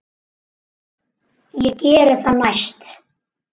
Ég geri það næst.